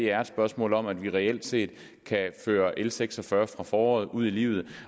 er et spørgsmål om at vi reelt set kan føre l seks og fyrre fra foråret ud i livet